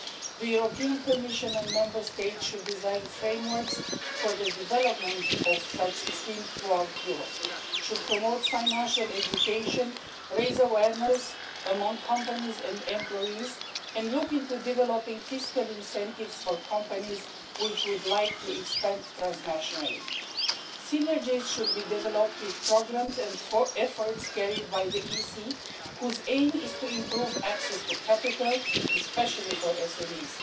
The Commission and Member States should design frameworks for the development of such schemes throughout Europe, they should promote financial education, raise awareness among companies and employees and look into developing fiscal incentives for companies which would like to expand transnationally. Synergies should be developed with programmes and for efforts carried out by the Commission whose aim is to improve access to capital, especially for SMEs.